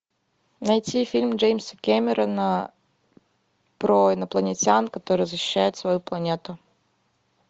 найти фильм джеймса кэмерона про инопланетян которые защищают свою планету